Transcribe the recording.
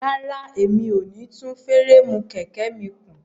Rárá, mi ò ní tún fúréèmù kẹ̀kẹ́ mi kùn.